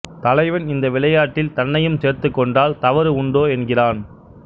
தலைவன் இந்த விளையாட்டில் தன்னையும் சேர்த்துக்கொண்டால் தவறு உண்டோ என்கிறான்